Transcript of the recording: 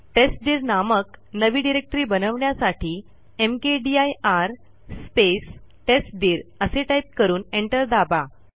टेस्टदीर नामक नवी डिरेक्टरी बनवण्यासाठी मकदीर स्पेस टेस्टदीर असे टाईप करून एंटर दाबा